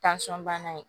bana ye